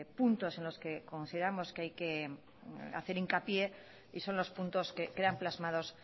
puntos en los que consideramos que hay que hacer hincapié y son los puntos que quedan plasmados